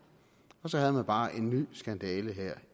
og så havde man bare en ny skandale her